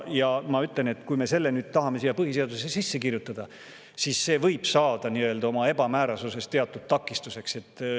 Ja ma ütlen, et kui me tahame selle nüüd põhiseadusesse sisse kirjutada, siis see võib saada oma ebamäärasuses teatud takistuseks.